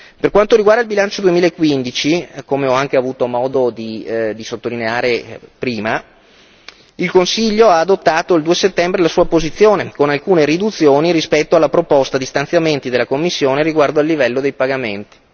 Per quanto riguarda il bilancio 2015, come ho anche avuto modo di sottolineare prima, il Consiglio ha adottato il 2 settembre la sua posizione, con alcune riduzioni rispetto alla proposta di stanziamenti della Commissione riguardo al livello dei pagamenti.